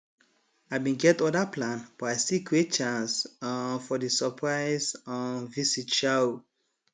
i bin get other plan but i still create chance um for di surprise um visit sha um